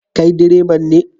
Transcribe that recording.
Kai direban ne?